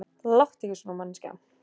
Láttu ekki svona manneskja.